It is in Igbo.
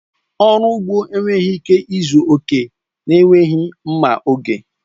Ọrụ ugbo enweghị ike ịzu oke na-enweghị mma oge.